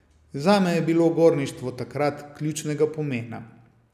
Zame je bilo gorništvo takrat ključnega pomena.